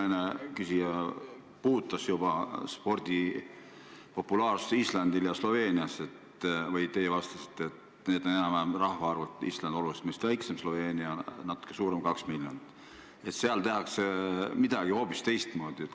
Eelküsija puudutas juba spordi populaarsust ja teie vastasite Islandit ja Sloveeniat näiteks tuues, et need on enam-vähem sama suured riigid – rahvaarvult on Island meist oluliselt väiksem, Sloveenia natuke suurem, 2 miljonit –, aga seal tehakse midagi hoopis teistmoodi.